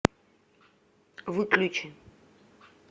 выключи